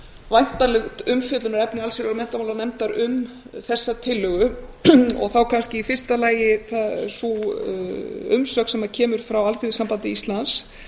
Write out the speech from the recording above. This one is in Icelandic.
væntanlegt umfjöllunarefni allsherjar og menntamálanefndar um þessa tillögu og þá kannski í fyrsta lagi sú umsögn sem kemur frá alþýðusambandi íslands